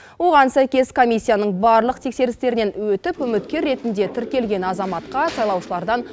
оған сәйкес комиссияның барлық тексерістерінен өтіп үміткер ретінде тіркелген азаматқа сайлаушылардан